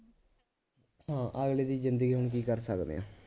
ਹਾਂ ਅਗਲੇ ਦੀ ਜ਼ਿੰਦਗੀ ਆ ਹੁਣ ਕੀ ਕਰ ਸਕਦੇ ਆਂ